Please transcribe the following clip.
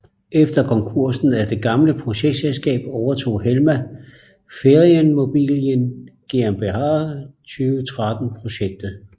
Efter konkursen af det gamle projektselskab overtog Helma Ferienimmobilien GmbH 2013 projektet